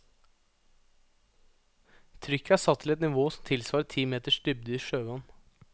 Trykket er satt til et nivå som tilsvarer ti meters dybde i sjøvann.